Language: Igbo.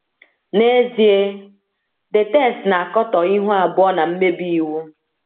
N’ezie, the text na - akatọ ihu abụọ na mmebi iwu.